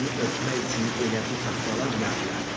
Oranı örtmək üçün elə bu taxtalar yarayar.